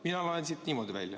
Mina loen siit niimoodi välja.